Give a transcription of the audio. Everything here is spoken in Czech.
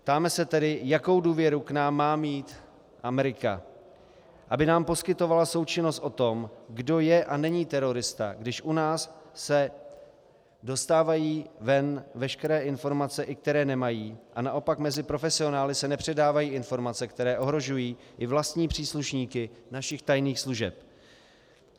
Ptáme se tedy, jakou důvěru k nám má mít Amerika, aby nám poskytovala součinnost o tom, kdo je a není terorista, když u nás se dostávají ven veškeré informace, i které nemají, a naopak mezi profesionály se nepředávají informace, které ohrožují i vlastní příslušníky našich tajných služeb.